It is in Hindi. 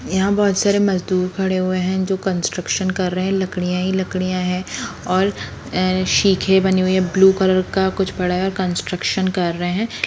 यहाँ बहोत सारे मजदूर खड़े हुए है जो कंट्रक्शन कर रहे है लकड़ियाँ ही लकड़ियाँ है और शिखे बनी हुई है ब्लू कलर का कुछ पड़ा है कंट्रक्शन कर रहा है।